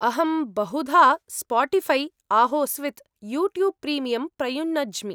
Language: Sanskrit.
अहं बहुधा स्पोटीफ़ै आहोस्वित् यूट्यूब् प्रीमियम् प्रयुनज्मि।